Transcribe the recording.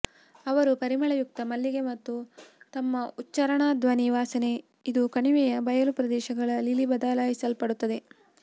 ಅವರು ಪರಿಮಳಯುಕ್ತ ಮಲ್ಲಿಗೆ ಮತ್ತು ತಮ್ಮ ಉಚ್ಚಾರಣಾ ಧ್ವನಿ ವಾಸನೆ ಇದು ಕಣಿವೆಯ ಬಯಲು ಪ್ರದೇಶಗಳ ಲಿಲಿ ಬದಲಾಯಿಸಲ್ಪಡುತ್ತವೆ